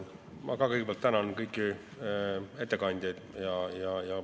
Ma samuti kõigepealt tänan kõiki ettekandjaid.